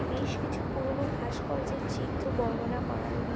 বেশ কিছু পুরনো ভাস্কর্যের চিত্র বর্ণনা করা রয়ে--